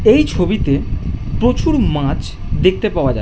এই ছবিতে প্রচুর মাছ দেখতে পাওয়া যা --